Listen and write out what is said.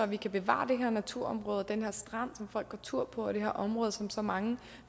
vi kan bevare det her naturområde og den her strand som folk går tur på og det her område som så mange